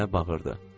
Nənə bağırırdı.